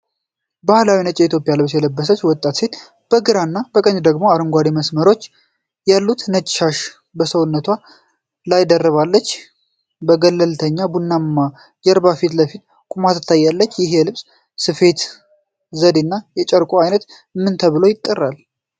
ባህላዊ ነጭ የኢትዮጵያ ልብስ የለበሰች ወጣት ሴት፣ በግራና በቀኝ ደግሞ አረንጓዴ መስመሮች ያሉት ነጭ ሻሽ በሰውነቷ ላይ ደርባ፣ በገለልተኛ ቡናማ ጀርባ ፊት ለፊት ቆማ ትታያለች። ይህ የልብስ ስፌት ዘዴና የጨርቁ ዓይነት ምን ተብሎ ይጠራል?